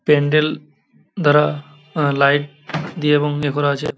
প্যান্ডেল দ্বারা আ লাইট দিয়ে এবং এ করা আছে।